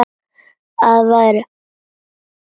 Að við værum á föstu.